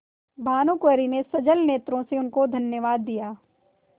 भानुकुँवरि ने सजल नेत्रों से उनको धन्यवाद दिया